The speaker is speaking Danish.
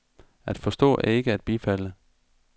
At forstå er ikke at bifalde.